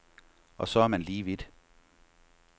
Og så er man lige vidt.